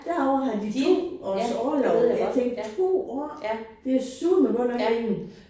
Derovre har de 2 års orlov. Jeg tænkte 2 år! Det er søreme godt nok længe